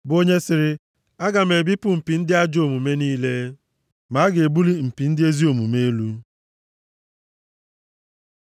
bụ onye sịrị, “Aga m ebipụ mpi ndị ajọ omume niile, ma a ga-ebuli mpi ndị ezi omume elu.”